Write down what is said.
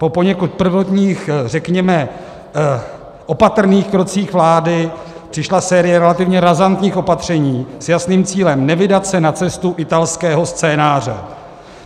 Po poněkud prvotních, řekněme, opatrných krocích vlády přišla série relativně razantních opatření s jasným cílem: nevydat se na cestu italského scénáře.